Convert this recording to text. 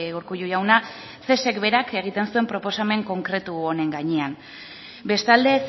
urkullu jauna cesk berak egiten zuen proposamen konkretu honen gainean bestalde